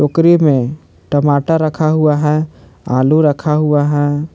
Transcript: टोकरी में टमाटर रखा हुआ हैं आलू रखा हुआ है।